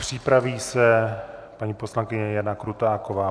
Připraví se paní poslankyně Jana Krutáková.